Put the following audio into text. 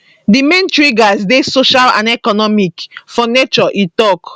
di main triggers dey social and economic for nature e tok